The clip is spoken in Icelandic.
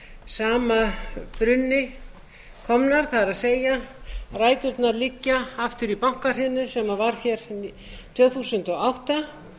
báðar af sama brunni komnar það er ræturnar liggja aftur í bankahrunið sem var hér tvö þúsund og átta